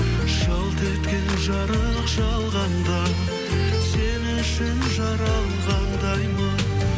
жалт еткен жарық жалғанда сен үшін жаралғандаймын